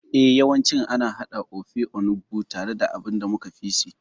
Eh, yawancin ana haɗa Ofe Onugbu tare da abin da muka fi si.